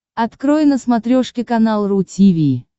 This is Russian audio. открой на смотрешке канал ру ти ви